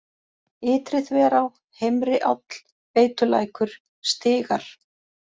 Ytri-Þverá, Heimri-Áll, Veitulækur, Stigar